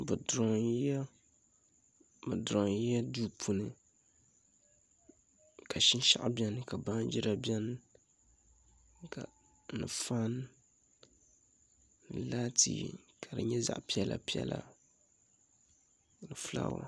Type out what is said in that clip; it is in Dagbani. Bi durooyila duu puuni ka shinshaɣu biɛni ka faan biɛni ka laati din bolfu nyɛ zaɣ piɛla piɛla fulaawa